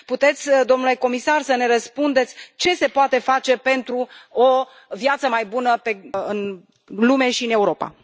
Puteți, domnule Comisar, să ne răspundeți ce se poate face pentru o viață mai bună în lume și în Europa?